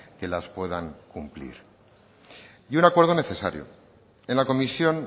que las puedan cumplir y un acuerdo necesario en la comisión